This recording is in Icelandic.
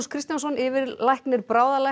Kristjánsson yfirlæknir